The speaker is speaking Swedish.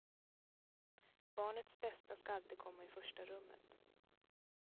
Barnets bästa ska alltid komma i första rummet.